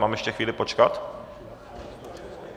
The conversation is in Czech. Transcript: Mám ještě chvíli počkat?